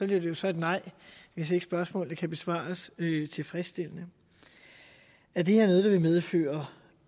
det så et nej hvis ikke spørgsmålene kan besvares tilfredsstillende er det her noget der vil medføre